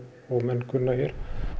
og menn kunna hér